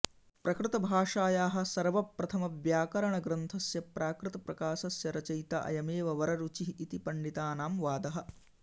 प्रकृतभाषायाः सर्वप्रथमव्याकरणग्रन्थस्य प्राकृतप्रकाशस्य रचयिता अयमेव वररुचिः इति पण्डितानां वादः